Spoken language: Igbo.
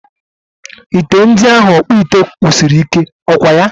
Ite ndi ahụ ọkpụite kpụrụ siri ike, ọkwaya?